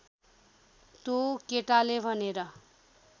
त्यो केटाले भनेर